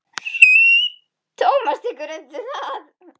Tómas tekur undir það.